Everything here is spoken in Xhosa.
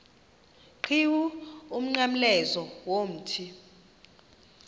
qhiwu umnqamlezo womthi